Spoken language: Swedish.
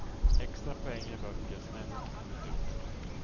Extra poäng ger böcker som ännu inte kommit ut.